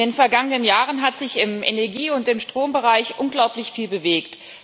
In den vergangenen Jahren hat sich im Energie und im Strombereich unglaublich viel bewegt.